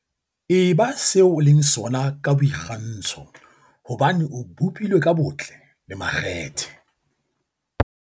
"Eba se o leng sona ka boikgantsho hobane o bopilwe ka botle le makgethe."